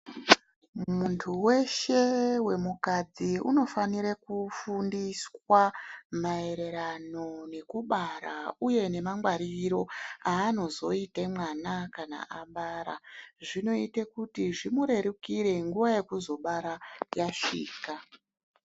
Muntu weshe wemukadzi inofanire kufundiswa maererano nekubara uye nemangwariro anozoita mwana kana abara. Zvinoite kuti zvimurerukire nguwa yekuzobara yasvika.